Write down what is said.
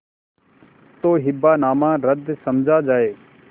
तो हिब्बानामा रद्द समझा जाय